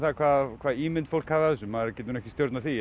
hvaða ímynd fólk hafi af þessu maður getur ekki stjórnað því